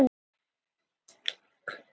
Brátt heyrðust lætin í Gerði.